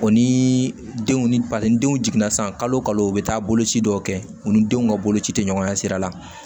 O ni denw ni denw jiginna san kalo bɛ taa boloci dɔw kɛ u ni denw ka boloci tɛ ɲɔgɔn ɲɛ sira la